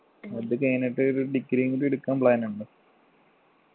അത് കഴിഞ്ഞിട്ട് ഒരു degree യും കൂടി എടുക്കാൻ plan ണ്ടോ